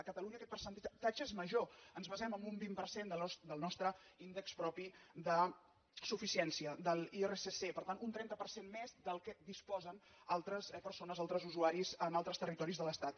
a catalunya aquest percentatge és major ens basem en un vint per cent del nostre índex propi de suficiència de l’irsc per tant un trenta per cent més del que disposen altres persones altres usuaris en altres territoris de l’estat